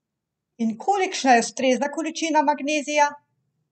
In kolikšna je ustrezna količina magnezija?